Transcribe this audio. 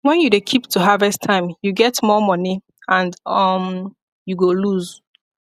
when you dey keep to harvest time you get more money and um you go loose